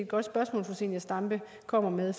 godt spørgsmål fru zenia stampe kommer med